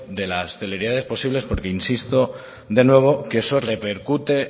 de las celeridades posibles porque insisto de nuevo que eso repercute